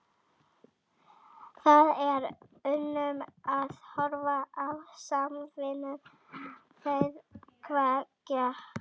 Það er unun að horfa á samvinnu þeirra tveggja.